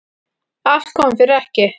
Allt kom fyrir ekki.